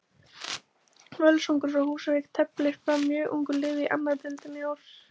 Völsungur frá Húsavík teflir fram mjög ungu liði í annarri deildinni í ár.